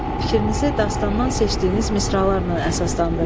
Fikrinizi dastandan seçdiyiniz misralarla əsaslandırın.